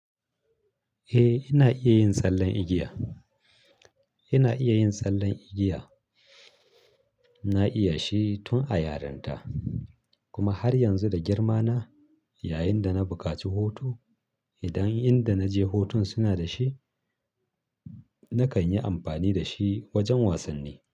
Eh, ina iya yin tsallen igiya. Ina iya yin tsallen igiya. Na iya shi tun a yaranta kuma har yanzu da girmana. Yayinda na bukaci hutu, idan inda naje hutun suna da shi nakan yi amfani da shi wajen wasanni.